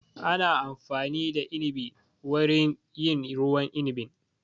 Ana amfani da inibi wurin yin ruwan inibin